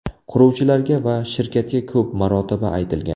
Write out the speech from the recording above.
Quruvchilarga va shirkatga ko‘p marotaba aytilgan.